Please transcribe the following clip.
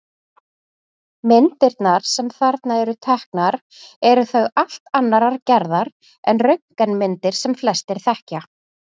Myndirnar sem þarna eru teknar eru þó allt annarrar gerðar en röntgenmyndir sem flestir þekkja.